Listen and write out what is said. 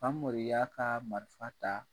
Famori y'a ka marifa ta